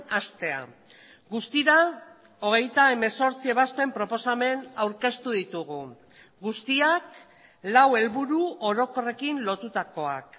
hastea guztira hogeita hemezortzi ebazpen proposamen aurkeztu ditugu guztiak lau helburu orokorrekin lotutakoak